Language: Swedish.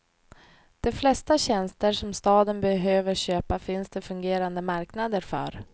De flesta tjänster som staden behöver köpa finns det fungerande marknader för.